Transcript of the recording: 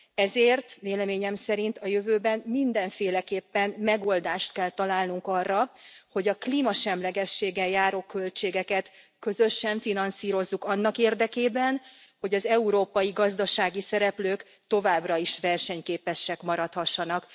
Ezért véleményem szerint a jövőben mindenféleképpen megoldást kell találnunk arra, hogy a klímasemlegességgel járó költségeket közösen finanszírozzuk annak érdekében, hogy az európai gazdasági szereplők továbbra is versenyképesek maradhassanak.